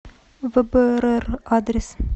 вбрр адрес